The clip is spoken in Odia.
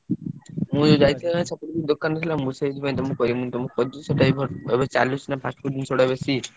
ହୁଁ ଯାଇଥିଲି ସେଠିକି ।